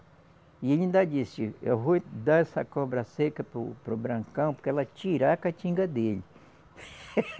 E ele ainda disse, eu vou dar essa cobra seca para o, para o Brancão, porque ela tirar a catinga dele.